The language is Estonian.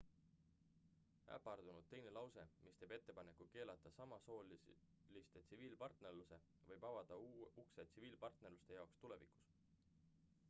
äpardunud teine lause mis teeb ettepaneku keelata samasooliste tsiviilpartnerluse võib avada ukse tsiviilpartnerluste jaoks tulevikus